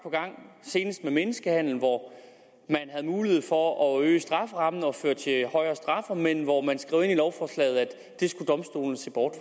senest med menneskehandel hvor man havde mulighed for at øge strafferammen kunne føre til højere straffe men hvor man skrev ind i lovforslaget at det skulle domstolene se bort